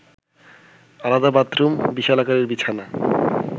আলাদা বাথরুম, বিশাল আকারের বিছানা